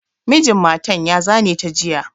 Mijin matan ya zane ta jiya.